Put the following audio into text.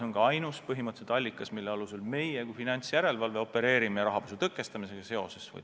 See oli põhimõtteliselt ainus allikas, mille alusel meie kui finantsjärelevalve opereerisime toona rahapesu tõkestamisega tegeledes.